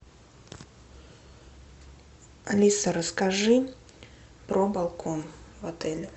алиса расскажи про балкон в отеле